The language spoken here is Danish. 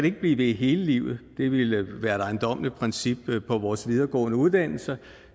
ikke blive ved hele livet det ville være et ejendommeligt princip på vores videregående uddannelser